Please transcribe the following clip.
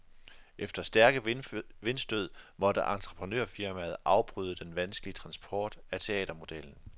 Efter stærke vindstød måtte entreprenørfirmaet afbryde den vanskelige transport af teatermodellen.